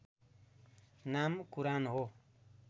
नाम कुरान हो